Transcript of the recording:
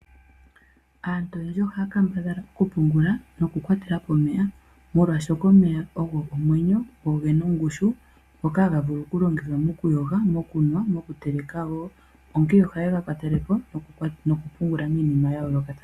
Aantu oyendji ohaya kambadhala okukwatelapo nokupungula omeya molwashoka omeya ogo omwenyo noge na ongushu ngoka haga longithwa mokuyoga , okunwa noshowo okuteleka.